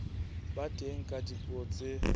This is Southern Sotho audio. ba teng ka dipuo tse